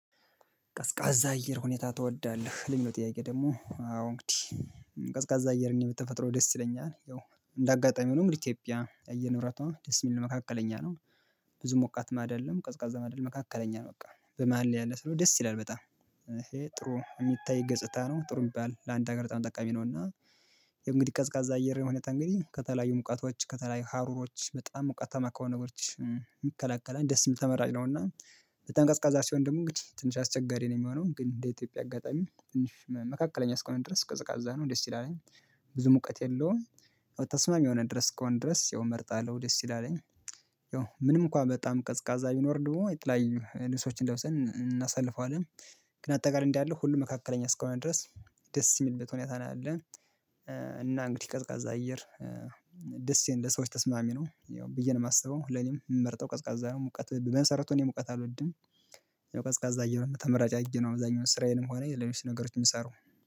ቀዝቃዛ አየር ሁኔታ ትወዳለህ የሚለው ጥያቄ ደግሞ አዎ እንግዲህ ቀዝቃዛ አየርና በተፈጥሮዬ ደስ ይለኛል። እንደ አጋጣሚ ሆኖም ኢትዮጵያ የአየር ንብረቷ ደስ የሚል መካከለኛ ነው። ብዙ ሞቃትም አይደለም ቀዝቃዛም ማደል መካከለኛ ነው በቃ በመሃል ያለ ስለሆነ ደስ ይላል። በጣም ጥሩ የሚታይ ገጽታ ነው ጥሩ የሚባል ለአንድ ሀገር በጣም ጠቃሚ ነው። እና እንግዲህ ቀዝቃዛ አየር ሁኔታ እንግዲህ ከተለያዩ ሙቀቶች ከተለያዩ ሀሩሮች በጣም ሞቃትማ ከሆኑ ነገሮች የሚከለከለን ደስ ተመራጭ ነው። እና በጣም ቀዝቃዛ ሲሆን ደሞ እንግዲህ ትንሽ አስቸጋሪ ነው የሚሆነው ግን እንደ ኢትዮጵያ አጋጣሚ ትንሽ መካከለኛ እስከሆነ ድረስ ቀዝቃዛ ነው ደስ ይላል። ብዙ ሙቀት የለውም። ተስማሚ የሆነ ድረስ ከሆነ ድረስ ይመርጣለሁ ደስ ይላለኝ። ያው ምንም እንኳን በጣም ቀዝቃዛ ቢኖር ደግሞ ላይ ልብሶችን ለብሰን እናሳልፈዋለን። ግን አጠቃላይ እንዲህ አለ ሁሉም መካከለኛ እስካሁን ድረስ ደስ የሚልበት ሁኔታ ነው ያለ። እና እንግዲህ ቀዝቃዛ አየር ደስ ይላል ሰዎች ተስማሚ ነው ያው ብዬ ነው የማስበው ለኔም የምመርጠው ቀዝቃዛ ነው ሙቀት በመሰረቱ እኔ ሙቀት አልወድም። ያው ቀዝቃዛ እያለ ተመራጭ አየሁ አብዛኛው ስራዬንም ሆነ ለኔ ነገሮች የምሰራው